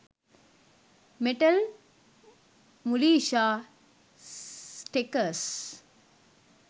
metal mulisha steckers